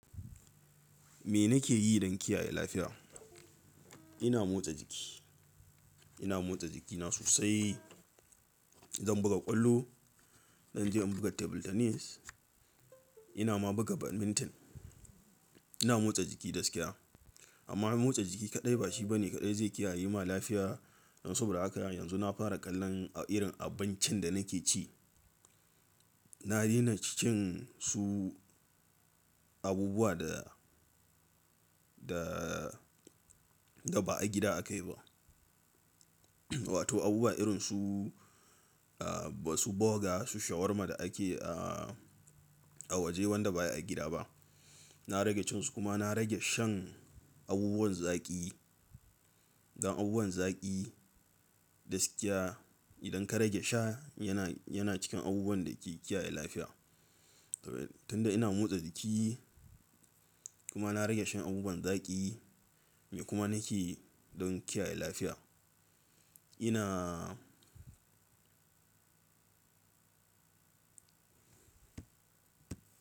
Me nake yi don kiyaye lafiya? Ina motsa jiki, ina motsa jikina sosai. Zan buga ƙwallo, zan je in buga table tennis, ina ma buga badminton. Ina motsa jiki da gaskiya amma motsa jiki kaɗai bashi bane kaɗai zai kiyaye ma lafiya. Don soboda haka yanzu na fara kallon irin abincin da nake ci. Na daina cikin su abubuwa da, da, da ba a gida akayi ba. Wato abubuwa irin su, ah, su burger, su shawarma da akeyi a, a waje wanda baya gida ba. Na rage cinsu kuma na rage shan abubuwan zaƙi. Dan abubuwan zaƙi da gaskiya idan ka rage sha yana, yana cikin abubuwan da ke kiyaye lafiya. Tunda ina motsa jiki kuma na rage shan abubuwan zaƙi me kuma nake yi don kiyaye lafiya? Ina.